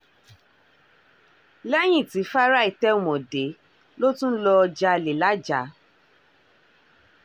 lẹ́yìn tí fáráì tẹ̀wọ̀n dé ló tún lọ́ọ́ jalè lajah